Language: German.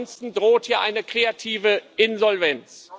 Ansonsten droht hier eine kreative Insolvenz.